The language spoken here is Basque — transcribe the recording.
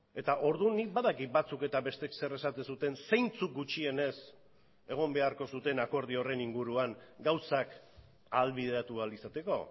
eta orduan nik badakit batzuk eta besteek zer esaten zuten zeintzuk gutxienez egon beharko zuten akordio horren inguruan gauzak ahalbideratu ahal izateko